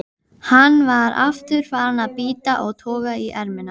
Jón Ingi Gíslason: Sameiginlegt?